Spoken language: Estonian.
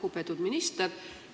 Lugupeetud minister!